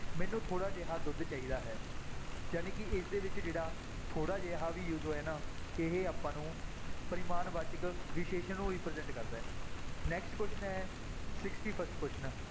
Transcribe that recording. ਮੈਨੂੰ ਥੋੜ੍ਹਾ ਜਿਹਾ ਦੁੱਧ ਚਾਹੀਦਾ ਹੈ, ਜਾਣੀ ਕਿ ਇਸਦੇ ਵਿੱਚ ਜਿਹੜਾ ਥੋੜ੍ਹਾ ਜਿਹਾ ਵੀ use ਹੋਇਆ ਨਾ, ਇਹ ਆਪਾਂ ਨੂੰ ਪਰਿਮਾਣਵਾਚਕ ਵਿਸ਼ੇਸ਼ਣ ਨੂੰ represent ਕਰਦਾ ਹੈ next question ਹੈ sixty-first question